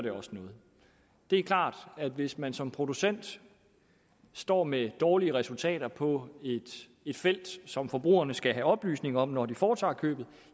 noget det er klart at hvis man som producent står med dårlige resultater på et felt som forbrugerne skal have oplysning om når de foretager købet